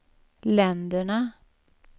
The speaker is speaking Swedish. länderna